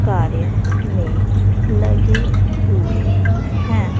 कार्य में लगे हुए है।